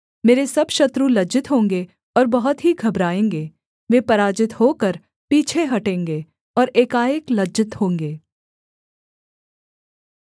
मेरे सब शत्रु लज्जित होंगे और बहुत ही घबराएँगे वे पराजित होकर पीछे हटेंगे और एकाएक लज्जित होंगे